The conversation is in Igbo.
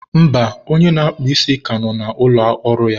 mba, onye na-akpụ ísí ka nọ na ụlọ ọrụ ya.